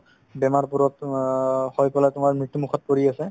বেমাৰবোৰতো অ হৈ গ'লে তোমাৰ মৃত্যুমুখত পৰি আছে